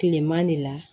Kileman de la